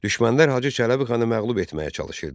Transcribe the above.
Düşmənlər Hacı Çələbixanı məğlub etməyə çalışırdı.